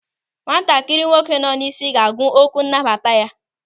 Nwatakịrị nwoke nọ n'isi ga-agụ okwu nnabata ya.